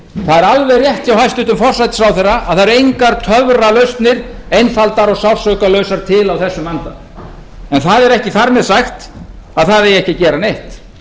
það er alveg rétt hjá hæstvirtum forsætisráðherra að það eru engar töfralausnir einfaldar og sársaukalausar til á þessum vanda en það er ekki þar með sagt að það eigi ekki að gera neitt